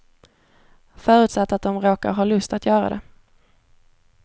Förutsatt att de råkar ha lust att göra det.